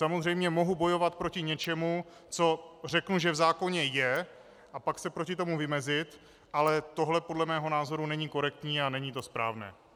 Samozřejmě mohu bojovat proti něčemu, co řeknu, že v zákoně je, a pak se proti tomu vymezit, ale tohle podle mého názoru není korektní a není to správné.